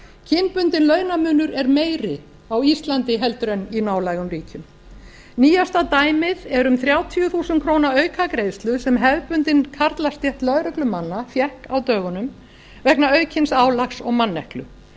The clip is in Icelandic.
kynbundinn launamunur er meiri á íslandi en í nálægum ríkjum nýjasta dæmið er um þrjátíu þúsund krónur aukagreiðslu sem hefðbundin karlastétt lögreglumanna fékk á dögunum vegna aukins álags og manneklu